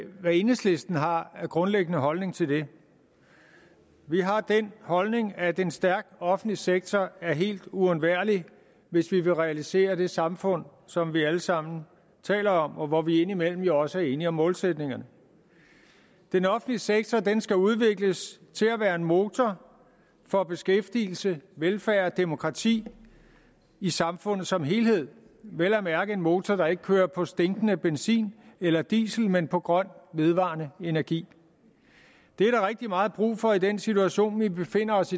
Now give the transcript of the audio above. hvad enhedslisten har af grundlæggende holdning til det vi har den holdning at en stærk offentlig sektor er helt uundværlig hvis vi vil realisere det samfund som vi alle sammen taler om og hvor vi indimellem jo også er enige om målsætningerne den offentlige sektor skal udvikles til at være en motor for beskæftigelse velfærd og demokrati i samfundet som helhed vel at mærke en motor der ikke kører på stinkende benzin eller diesel men på grøn vedvarende energi det er der rigtig meget brug for i den situation vi befinder os